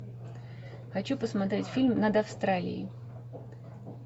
хочу посмотреть фильм над австралией